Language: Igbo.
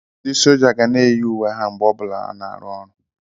Ndị sójá ga na eyi uwe ha mgbe ọ bụla ha na-arụ ọrụ